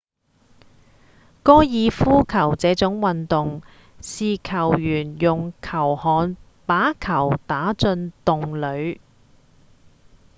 高爾夫球這種運動是球員用球桿把球打進洞裡